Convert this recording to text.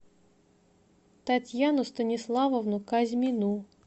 татьяну станиславовну казьмину